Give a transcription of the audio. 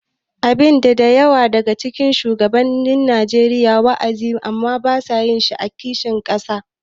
Abin da da yawa daga cikin shugabannin Najeriya ke wa’azi amma ba sa yi shi ne kishin ƙasa.